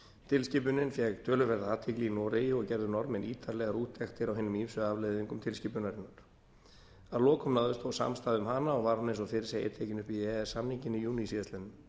tilskipunin fékk töluverða athygli í noregi og gerðu norðmenn ítarlegar úttektir á hinum ýmsu afleiðingum tilskipunarinnar að lokum náðist þó samstaða um hana og var hún eins og fyrr segir tekin upp í e e s samninginn í júní síðastliðinn